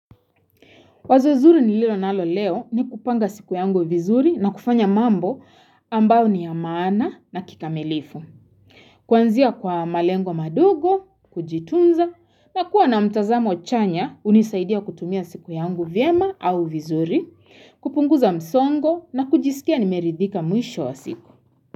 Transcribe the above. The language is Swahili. Wazo zuri nililonalo leo ni kupanga siku yangu vizuri na kufanya mambo ambao ni ya maana na kikamilifu. Kwanzia kwa malengo madogo, kujitunza na kuwa na mtazamo chanya hunisaidia kutumia siku yangu vyema au vizuri, kupunguza msongo na kujisikia nimeridhika mwisho wa siku.